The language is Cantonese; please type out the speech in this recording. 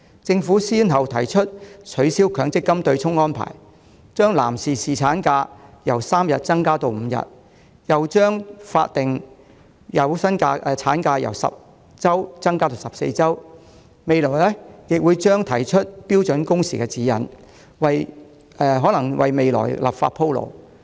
政府先後提出取消強積金對沖安排，把男士侍產假由3天增加至5天，又把法定有薪產假由10周增加至14周，未來亦將提出標準工時指引，或為立法鋪路。